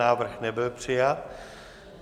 Návrh nebyl přijat.